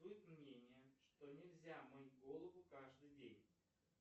бытует мнение что нельзя мыть голову каждый день